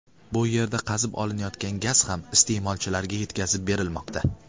Bu yerdan qazib olinayotgan gaz ham iste’molchilarga yetkazib berilmoqda.